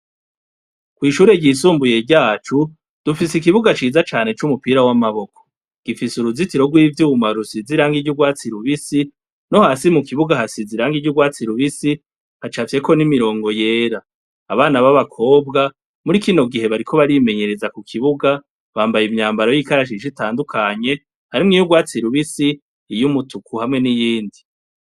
Kw'ishure ryisumbuye ryacu, dufise ikibuga c'iza cane c'umupira w'amaboko, gifise uruzitiro tw'ivyuma risize irangi ry'urwatsi rubisi, no hasi hasize irangi ry'urwatsi rubisi havafyeko n'imirongo yera. Abana baba kobwa muri kino gihe bariko barimenyereza ku kuibuga bambaye imyambaro y'ikarashishi itandukanye hrimwo iyurwatsi rubisi iy'umutuku hamwe n'iyindi.